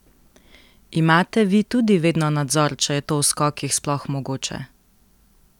Imate vi tudi vedno nadzor, če je to v skokih sploh mogoče?